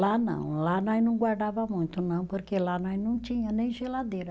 Lá não, lá nós não guardava muito não, porque lá nós não tinha nem geladeira.